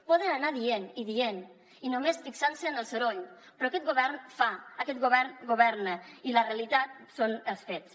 poden anar dient i dient i només fixar se en el soroll però aquest govern fa aquest govern governa i la realitat són els fets